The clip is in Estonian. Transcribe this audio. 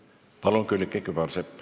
Palun, Külliki Kübarsepp!